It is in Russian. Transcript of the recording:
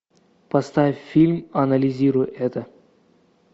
поставь фильм анализируй это